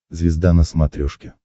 звезда на смотрешке